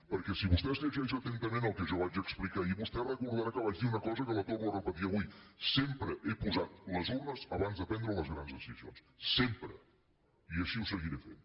perquè si vostè es llegeix atentament el que jo vaig explicar ahir vostè recordarà que vaig dir una cosa que la torno a repetir avui sempre he posat les urnes abans de prendre les grans decisions sempre i així ho seguiré fent